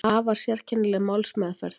Afar sérkennileg málsmeðferð